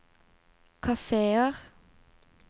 kafeer